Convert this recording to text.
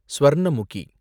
Swarnamukhi